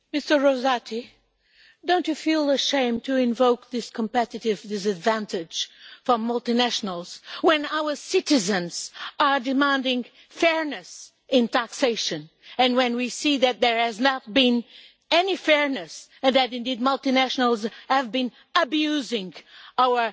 Mr Rosati, do you not feel ashamed to invoke competitive disadvantage for multinationals when our citizens are demanding fairness in taxation, and when we see that there has not been any fairness and, indeed, that multinationals have been abusing our